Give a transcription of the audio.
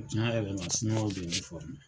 Tiɲan yɛrɛ la, siniwaw de ye n fɔrme.